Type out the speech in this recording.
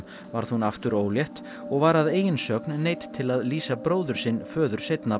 varð hún aftur ólétt og var að eigin sögn neydd til að lýsa bróður sinn föður seinna